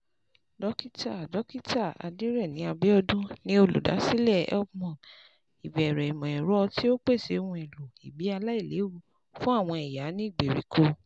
Dókítà Dókítà Adereni Abiodun ni olùdásílẹ̀ HelpMum, ìbẹ̀rẹ̀ ìmọ̀-ẹ̀rọ tí ó pèsè ohun èlò ìbí aláìléwu fún àwọn ìyá ní ìgbèríko.